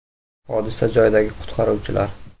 Hodisa joyidagi qutqaruvchilar.